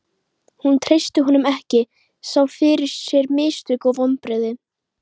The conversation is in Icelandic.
Hún treysti honum ekki, sá fyrir sér mistök og vonbrigði.